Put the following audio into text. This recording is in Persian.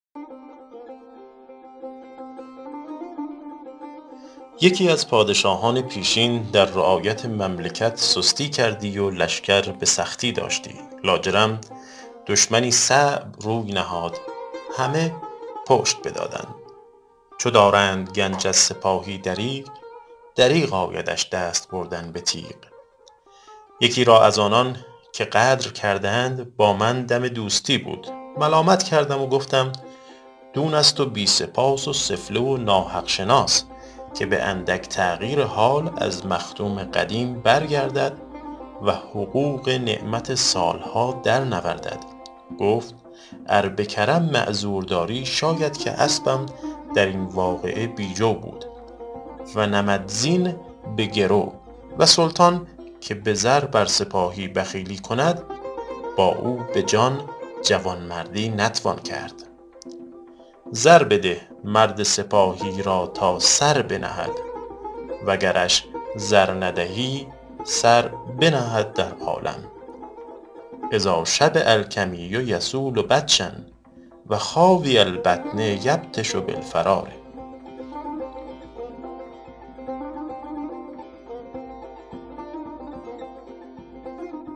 یکی از پادشاهان پیشین در رعایت مملکت سستی کردی و لشکر به سختی داشتی لاجرم دشمنی صعب روی نهاد همه پشت بدادند چو دارند گنج از سپاهی دریغ دریغ آیدش دست بردن به تیغ یکی را از آنان که غدر کردند با من دم دوستی بود ملامت کردم و گفتم دون است و بی سپاس و سفله و ناحق شناس که به اندک تغیر حال از مخدوم قدیم برگردد و حقوق نعمت سال ها در نوردد گفت ار به کرم معذور داری شاید که اسبم در این واقعه بی جو بود و نمدزین به گرو و سلطان که به زر بر سپاهی بخیلی کند با او به جان جوانمردی نتوان کرد زر بده مرد سپاهی را تا سر بنهد و گرش زر ندهی سر بنهد در عالم اذا شبع الکمی یصول بطشا و خاوی البطن یبطش بالفرار